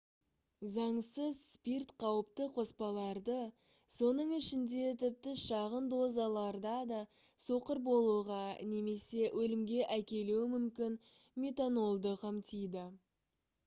заңсыз спирт қауіпті қоспаларды соның ішінде тіпті шағын дозаларда да соқыр болуға немесе өлімге әкелуі мүмкін метанолды қамтиды